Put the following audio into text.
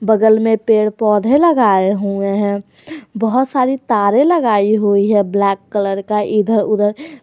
बगल में पेड़ पौधे लगाए हुए हैं बहुत सारी तारे लगाई हुई है ब्लैक कलर का इधर उधर।